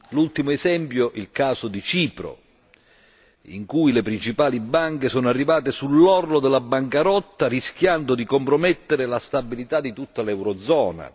L'ultimo esempio è il caso di Cipro, in cui le principali banche sono arrivate sull'orlo della bancarotta rischiando di compromettere la stabilità di tutta l'eurozona.